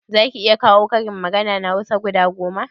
Zaki iya kawo karin magana na hausa guda goma?